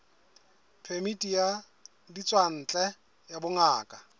phemiti ya ditswantle ya bongaka